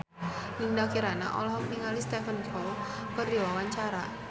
Dinda Kirana olohok ningali Stephen Chow keur diwawancara